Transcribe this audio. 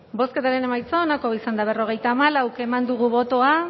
bozketaren emaitza onako izan da berrogeita hamalau eman dugu bozka